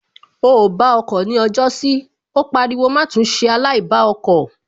O ò bá ọkọ̀ ni ọjọ́sí Ó pariwo má tún ṣe aláìbá ọkọ̀